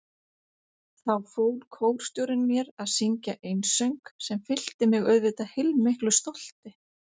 Þá fól kórstjórinn mér að syngja einsöng sem fyllti mig auðvitað heilmiklu stolti.